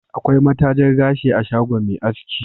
Akwai matajar gashi a shagon Me asaki